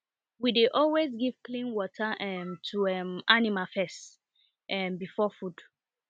we dey always give clean water um to um animal first um before food